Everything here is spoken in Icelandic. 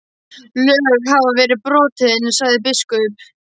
Lög hafa verið brotin, sagði biskup.